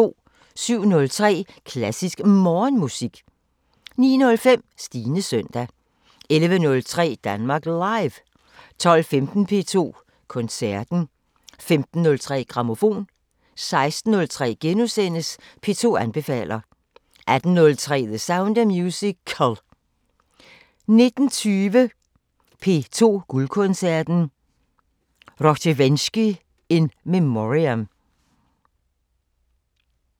07:03: Klassisk Morgenmusik 09:05: Stines søndag 11:03: Danmark Live 12:15: P2 Koncerten * 15:03: Grammofon 16:03: P2 anbefaler * 18:03: The Sound of Musical 19:20: P2 Guldkoncerten: Rozhdestvensky in memoriam